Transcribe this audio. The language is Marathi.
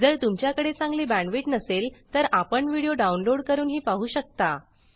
जर तुमच्याकडे चांगली बॅंडविड्त नसेल तर आपण व्हिडिओ डाउनलोड करूनही पाहू शकता